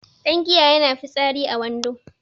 Dangiya yana fitsari a wando